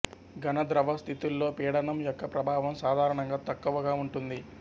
ఘన ద్రవ స్థితిల్లో పీడనం యొక్క ప్రభావం సాధారణంగా తక్కువగా ఉంటుంది